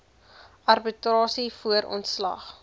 arbitrasie voor ontslag